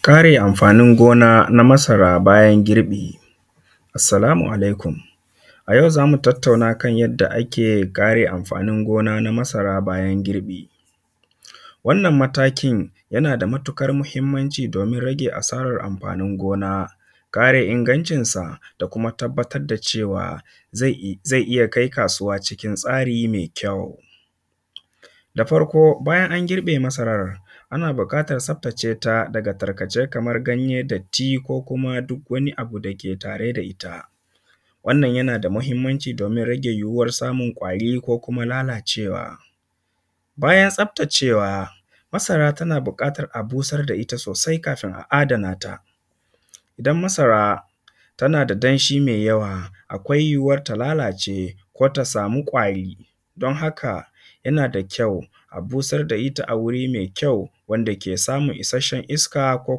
Kare amfanin gona na masara bayan girbi. Assalamu alaikum a yau zamu tattauna kan yadda ake kare amfanin gona na masara bayan girbi. Wannan matakin yana da matuƙar mahimmanci domin rage asarar amfanin gona, kare ingancin sa, da kuma tabbatar da cewa zai iya kai kasuwa cikin tsari mai kyau. Da farko bayan an girbe masarar, ana buƙatar tsaftace ta tarkace kaman ganye, datti, ko kuma duk wani abu dake tare da ita, wannan yana da mahimmanci domin rage yuwuwar samun ƙwari ko kuma lalacewa. Bayan tsaftacewa masara tana buƙatan a busar da ita sosai kafin a adana ta, don masara tana da danshi mai yawa akwai yuwuwar ta lalace ko ta samu ƙwari don haka yana da kyau a busar da ita a wuri mai kyau, wanda ke samun isasshen iska ko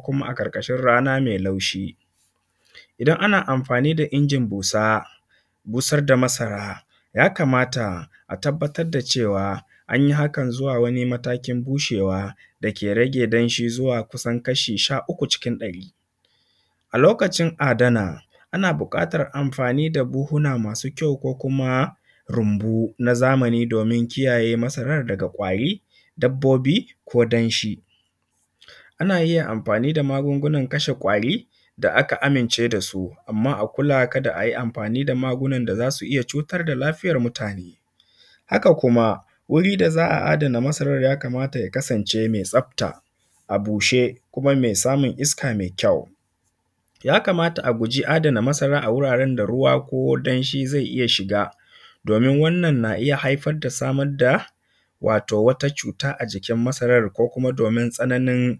kuma a ƙarkashin rana mai laushi. Idan ana amfani da injin busar da masara ya kamata a tabbatar da cewa an yi hakan zuwa wani mataki bushewa dake rage danshi zuwa kusan kashi sha uku cikin ɗari. A lokacin adana ana buƙatan amfani da buhuna masu kyau ko kuma rumbu na zamani domin kiyaye masarar daga ƙwari, dabbobi ko danshi. Ana iya amfani da magungunan kashe ƙwari da aka amince da su amma a kula kada a yi amfani da magunan da za su iya cutar da mutane. Haka kuma wuri da za a adana masarar ya kamata ya kasance mai tsafta, a bushe kuma mai samun iska mai kyau. Ya kamata a guji adana masara a guraren da ruwa ko danshi zai iya shiga domin wannan na haifar da samar da wato wata cuta a jikin masarar ko kuma domin tsananin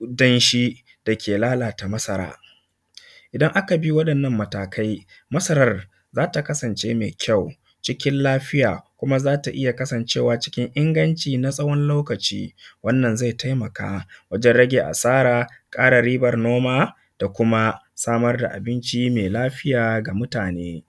danshi dake lalata masara. Idan aka bi waɗannan matakai masarar za ta kasance mai kyau cikin lafiya, kuma za ta iya kasancewa cikin inganci na tsawon lokaci. Wannan zai taimaka wajen rage asara, ƙara riban noma da kuma samar da abinci mai lafiya ga mutane.